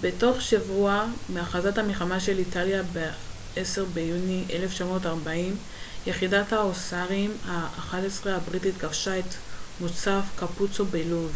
בתוך שבוע מהכרזת המלחמה של איטליה ב-10 ביוני 1940 יחידת ההוסארים ה-11 הבריטית כבשה את מוצב קאפוצו בלוב